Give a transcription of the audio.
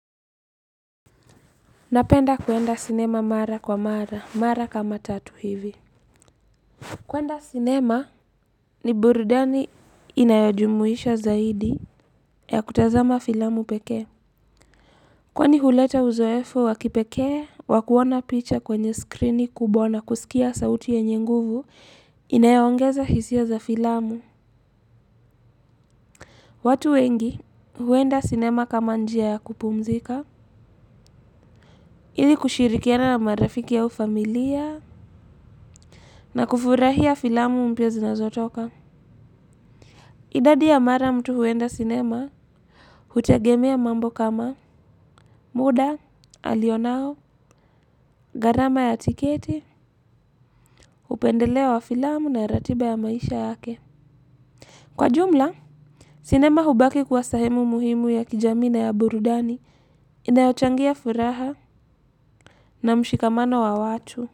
Napenda kwenda sinema mara kwa mara, mara kama tatu hivi. Kwenda sinema ni burudani inayojumuisha zaidi ya kutazama filamu pekee. Kwani huleta uzoefu wa kipekee, wa kuona picha kwenye skrini kubwa na kusikia sauti yenye nguvu, inayoongeza hisia za filamu. Watu wengi huenda sinema kama njia ya kupumzika, ili kushirikiana na marafiki au familia, na kufurahia filamu mpya zinazotoka. Idadi ya mara mtu huenda sinema, hutegemea mambo kama muda alionao, gharama ya tikete, upendeleo wa filamu na ratiba ya maisha yake. Kwa jumla, sinema hubaki kuwa sehemu muhimu ya kijamii na ya burudani, inayochangia furaha na mshikamano wa watu.